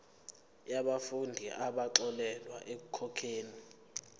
yabafundi abaxolelwa ekukhokheni